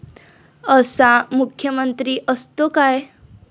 असा मुख्यमंत्री असतो काय?